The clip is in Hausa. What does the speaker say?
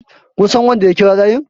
kun San wanda ya kira layin?